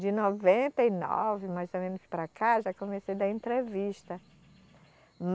De noventa e nove, mais ou menos, para cá, já comecei a dar entrevista.